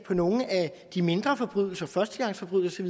for nogle af de mindre forbrydelser førstegangsforbrydelser